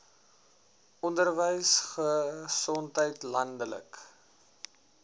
onderwys gesondheid landelike